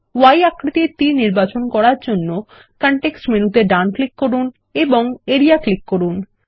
Y আকৃতির তীর নির্বাচন করার জন্য কনটেক্সট মেনুতে ডান ক্লিক করুন এবং এরিয়া ক্লিক করুন